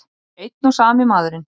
Einn og sami maðurinn!